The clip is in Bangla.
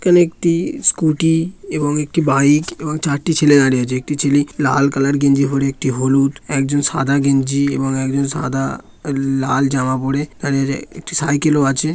এখানে একটি স্কুটি এবং একটি বাইক এবং চারটি ছেলে দাঁড়িয়ে আছে একটি ছেলে লাল কালার গেঞ্জি পরে একটি হলুদ একজন সাদা গেঞ্জি এবং একজন সাদা লাল জামা পরে দাঁড়িয়ে আছে একটি সাইকেল ও আছে।